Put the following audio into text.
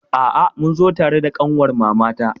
A'a, mun zo tare da ƙanwar mamata.